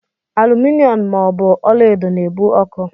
Aluminom ma ọ bụ ọlaedo na-ebu ọkụ.